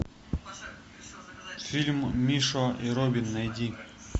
фильм мишо и робин найди